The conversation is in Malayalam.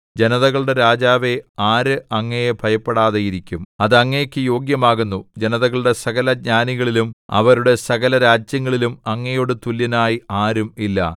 ജനതകളുടെ രാജാവേ ആര് അങ്ങയെ ഭയപ്പെടാതെയിരിക്കും അത് അങ്ങേക്കു യോഗ്യമാകുന്നു ജനതകളുടെ സകല ജ്ഞാനികളിലും അവരുടെ സകലരാജ്യങ്ങളിലും അങ്ങയോടു തുല്യനായി ആരും ഇല്ല